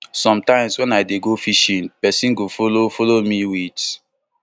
sometimes wen i dey go fishing pesin go follow follow me wit